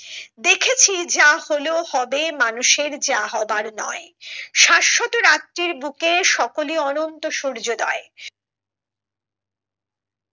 দেখেছি যা হলো হবে মানুষের যা হবার নয় শাশ্বত রাত্রির বুকে সকলে অনন্ত সূর্যোদয়